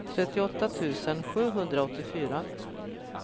trettioåtta tusen sjuhundraåttiofyra